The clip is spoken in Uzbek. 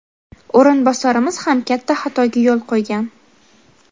O‘rinbosarimiz ham katta xatoga yo‘l qo‘ygan.